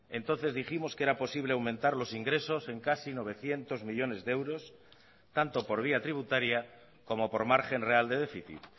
entonces dijimos que era posible aumentar los ingresos en casi novecientos millónes de euros tanto por vía tributaria como por margen real de déficit